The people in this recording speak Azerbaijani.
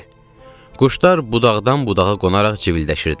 Quşlar budaqdan budağa qonaraq civildəşirdilər.